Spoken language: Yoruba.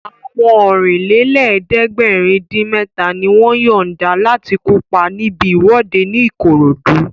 Àwọn Ọ̀rìnlélẹ̀ẹ́dẹ́gbèrin-dín-mẹ́ta ni wọ́n yọ̀nda láti kópa níbi ìwọ́de ní Ìkòròdú